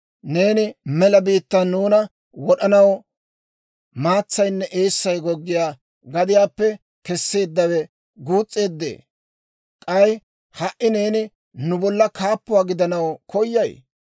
Neeni mela biittaan nuuna wod'anaw maatsaynne eessay goggiyaa gadiyaappe kesseeddawe guus's'eeddee? K'ay ha"i neeni nu bolla kaappuwaa gidanaw koyay?